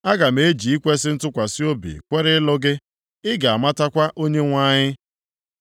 Aga m eji ikwesi ntụkwasị obi kwere ịlụ gị. Ị ga-amatakwa Onyenwe anyị.